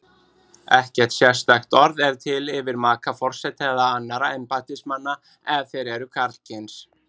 Ekkert sérstakt orð er til yfir maka forseta eða annarra embættismanna ef þeir eru karlkyns.